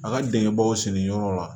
A ka denkɛbaw senyɔrɔ la